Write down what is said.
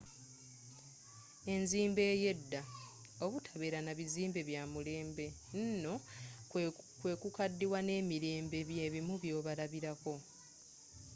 enzimba eyedda obutabeera nabizimbe byamulembe nno kukadiwa nemirembe byebimu kubyobalabilako